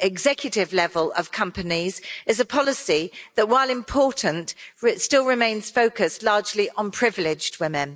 executive level in companies is a policy that, while important, still remains focused largely on privileged women.